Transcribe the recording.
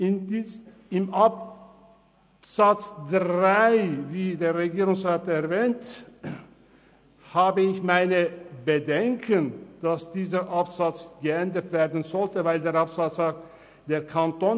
Betreffend den vom Regierungsrat erwähnten Artikel 89 Absatz 3 der Verfassung des Kantons Bern (KV) habe ich meine Bedenken, dass dieser geändert werden sollte, weil er besagt: «Er [der Kanton